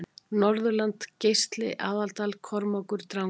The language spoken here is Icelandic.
Norðurland Geisli Aðaldal Kormákur Drangey